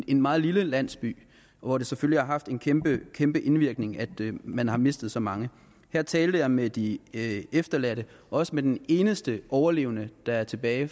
en meget lille landsby hvor det selvfølgelig har haft en kæmpe kæmpe indvirkning at man har mistet så mange her talte jeg med de efterladte og også med den eneste overlevende der er tilbage